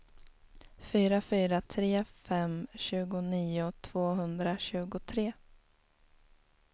fyra fyra tre fem tjugonio tvåhundratjugotre